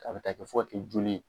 K'a bɛ taa kɛ fɔ ka kɛ joli ye